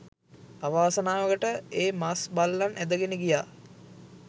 අවාසනාවකට ඒ මස් බල්ලන් ඇදගෙන ගියා.